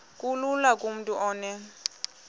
kulula kumntu onen